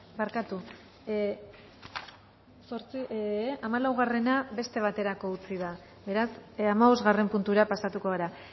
barkatu hamalaugarrena beste baterako utzi da beraz hamabosgarren puntura pasatuko gara